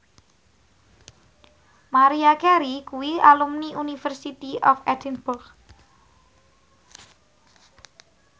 Maria Carey kuwi alumni University of Edinburgh